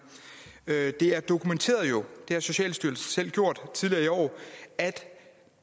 det er jo dokumenteret det har socialstyrelsen selv gjort tidligere i år at